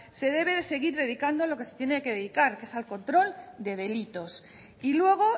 se debe de seguir dedicando a lo que se tiene que dedicar que es al control de delitos y luego